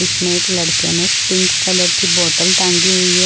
इसमें एक लड़के ने पिंक कलर की बोतल टांगी हुई है।